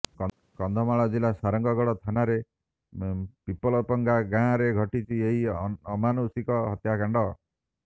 କନ୍ଧମାଳ ଜିଲ୍ଲା ସାରଙ୍ଗଗଡ଼ ଥାନା ପିପଲପଙ୍ଗା ଗାଁରେ ଘଟିଛି ଏହି ଅମାନୁଷିକ ହତ୍ୟାକାଣ୍ଡ